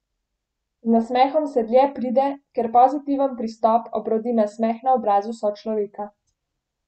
Z nasmehom se dlje pride, ker pozitiven pristop obrodi nasmeh na obrazu sočloveka.